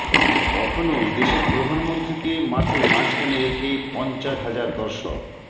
কখনও দেশের প্রধানমন্ত্রীকে মাঠের মাঝখানে রেখে পঞ্চাশ হাজার দর্শক